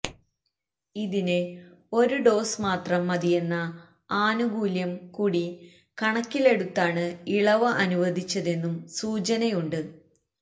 ഇതിന് ഒരു ഡോസ് മാത്രം മതിയെന്ന ആനുകൂല്യം കൂടി കണക്കിലെടുത്താണ് ഇളവ് അനുവദിച്ചതെന്നും സൂചനയുണ്ട്